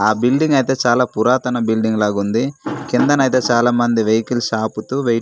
ఆ బిల్డింగ్ అయితే చాలా పురాతన బిల్డింగ్ లాగుంది కిందన అయితే చాలామంది వెహికల్స్ ఆపుతూ వెయిట్ --